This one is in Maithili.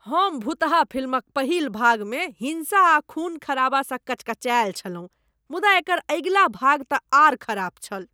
हम भुतहा फिल्मक पहिल भागमे हिंसा आ खून खराबासँ कचकचायल छलहुँ मुदा एकर अगिला भागतँ आर खराब छल।